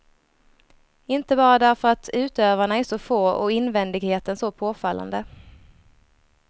Inte bara därför att utövarna är så få och invändigheten så påfallande.